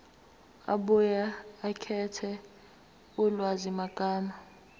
abuye akhethe ulwazimagama